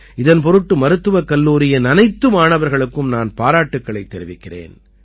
இதன் பொருட்டு மருத்துவக் கல்லூரியின் அனைத்து மாணவர்களுக்கும் நான் பாராட்டுக்களைத் தெரிவிக்கிறேன்